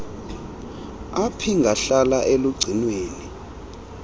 ap ingahlala elugcinweni